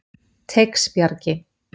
Teigsbjargi